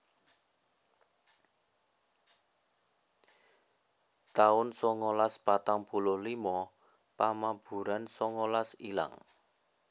taun songolas patang puluh limo Pamaburan songolas ilang